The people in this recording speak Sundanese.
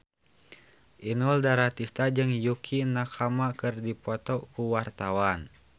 Inul Daratista jeung Yukie Nakama keur dipoto ku wartawan